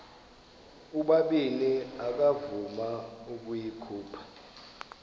ubabini akavuma ukuyikhupha